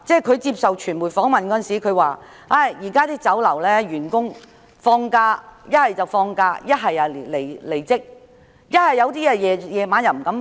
他接受傳媒訪問時表示，有些員工現時放假，有些已離職，有些在晚上則不敢上班。